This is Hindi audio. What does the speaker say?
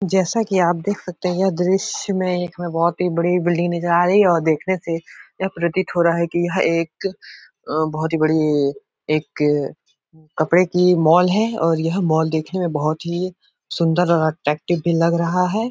जैसा कि आप देख सकते हैं यह दृश्य में एक में बहोत ही बड़ी बिल्डिंग नजर आ रही है और देखने से यह प्रतीत हो रहा है कि यह एक अ बहोत ही बड़ी एक कपड़े की माल है और यह माल देखने में बहोत ही सुंदर और अट्रैक्टिव भी लग रहा है।